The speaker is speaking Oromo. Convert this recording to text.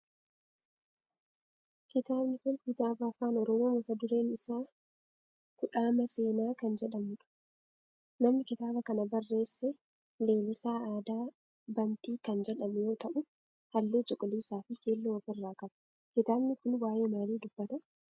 Kitaabni kun kitaaba afaan oromoo mata dureen isaa kudhaama seenaa kan jedhudha. Namni kitaaba kana barreesse Leelisaa Aadaa Bantii kan jedhamu yoo ta'u halluu cuquliisaa fi keelloo of irraa qaba. Kitaabni kun waayee maalii dubbata?